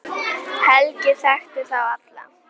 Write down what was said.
Helgi þekkti þá alla.